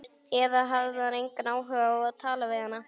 Eða hafði hann engan áhuga á að tala við hana?